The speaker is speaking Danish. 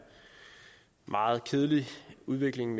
meget kedelig udvikling